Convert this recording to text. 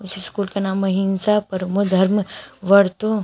school का नाम अहिंसा परमो धर्म वर्तो--